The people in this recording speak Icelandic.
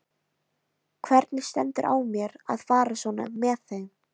Hvernig stendur á mér að fara svona með mig?